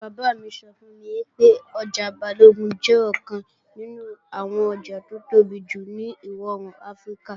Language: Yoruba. Bàbá mi sọ fún mi pé ọjà Balógun jẹ́ ọ̀kan nínú àwọn ọjà tó tóbi jù ní ìwọ-òòrùn Áfíríkà.